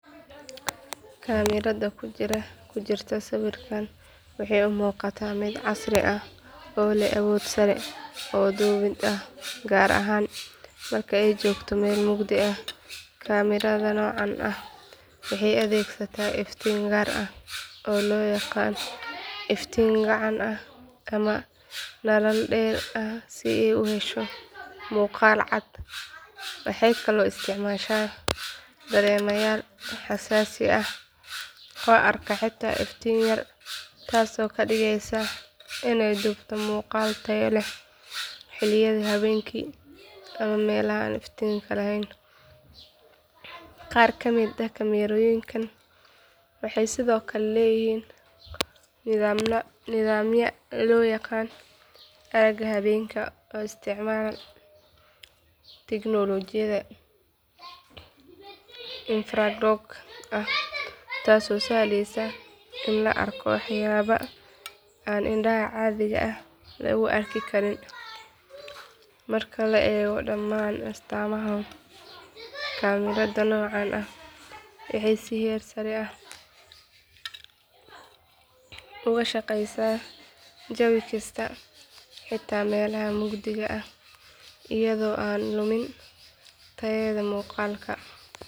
Kaamirada ku jirta sawirkaan waxay u muuqataa mid casri ah oo leh awood sare oo duubid ah gaar ahaan marka ay joogto meel mugdi ah kaamirada noocan ah waxay adeegsataa iftiin gaar ah oo loo yaqaan iftiin gacan ah ama nalal dheeri ah si ay u hesho muuqaal cad waxay kaloo isticmaashaa dareemayaal xasaasi ah oo arka xitaa iftiin yar taasoo ka dhigeysa inay duubto muuqaal tayo leh xilliyada habeenkii ama meelaha aan iftiinka lahayn qaar ka mid ah kaamirooyinkan waxay sidoo kale leeyihiin nidaamyo loo yaqaan aragga habeenkii oo isticmaala tiknoolajiyadda infraroog ah taasoo sahleysa in la arko waxyaabo aan indhaha caadiga ah lagu arki karin marka la eego dhammaan astaamahan kaamirada noocaan ah waxay si heer sare ah uga shaqaysaa jawi kasta xitaa meelaha mugdiga ah iyada oo aan lumin tayada muuqaalka.